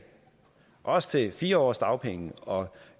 også til fire års dagpenge og